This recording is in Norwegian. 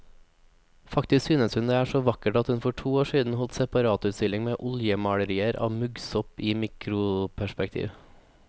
Faktisk synes hun det er så vakkert at hun for to år siden holdt separatutstilling med oljemalerier av muggsopp i mikroperspektiv.